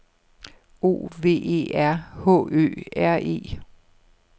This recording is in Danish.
O V E R H Ø R E